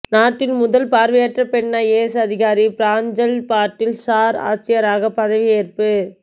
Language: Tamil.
நாட்டின் முதல் பார்வையற்ற பெண் ஐஏஎஸ் அதிகாரி பிராஞ்ஜல் பாட்டீல் சார் ஆட்சியராக பதவியேற்பு